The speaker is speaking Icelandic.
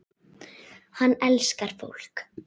Hann elskar fólk.